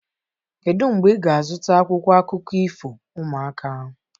Kedu mgbe ị ga-azụta akwụkwọ akụkọ ifo ụmụaka?